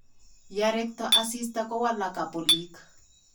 Yarekto asista kuwalaka polik